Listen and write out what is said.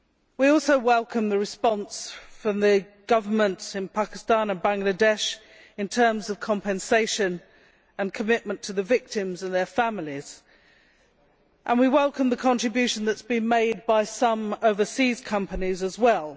We also welcome the response from the governments in Pakistan and Bangladesh in terms of compensation and commitment to the victims and their families, and we welcome the contribution that has been made by some overseas companies as well